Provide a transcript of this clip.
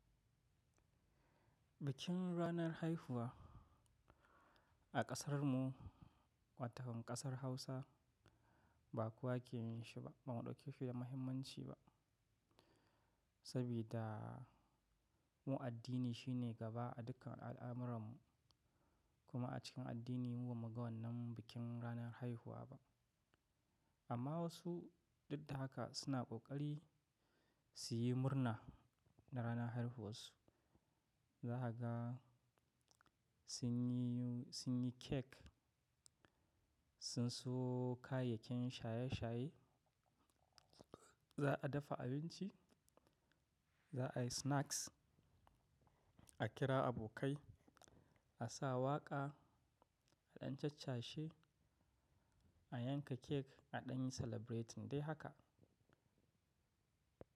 Bikin ranar haihuwa a ƙasarmu, wato ƙasar Hausa ba kowa ke yin shi ba. Ba mu ɗauke shi da muhimmanci ba, saboda mu addini shine gaba a dukkan al'amurarmu. Kuma a cikin addini mu ba muga wannan bikin ranar haihuwa ba. Amma wasu duk da haka suna ƙoƙari su yi murna na ranar haihuwar su. Zakaga sun yi, sun yi cake, sun sayo kayayyakin shaye-shaye, za a dafa abinci, za a yi snacks, a kira abokai, a sa waƙa, a ɗan cacashe, a yanka cake, a ɗan yi celebrate din dai haka.